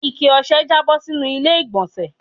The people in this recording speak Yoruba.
Ikẹ ọ̀sẹ̀ jabo sínú ilé igbonse